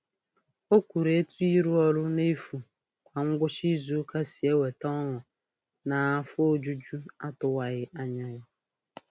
O kwuru etu ịrụ ọrụ n'efu kwa ngwụcha izuụka si eweta ọṅụ naa afọ ojuju atụwaghị anya ya.